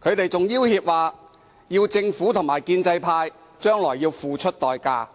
他們更要脅指政府和建制派將來要付出代價。